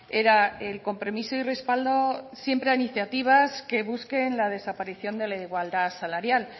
era el compromiso y respaldo siempre a iniciativas que busquen la desaparición de la igualdad salarial